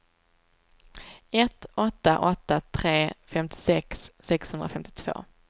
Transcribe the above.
ett åtta åtta tre femtiosex sexhundrafemtiotvå